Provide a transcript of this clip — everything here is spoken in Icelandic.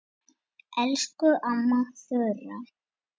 Elsku amma Þura.